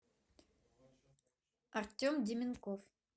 артем деменков